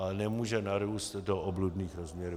Ale nemůže narůst do obludných rozměrů.